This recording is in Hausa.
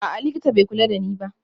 A'a, likita bai kula da ni ba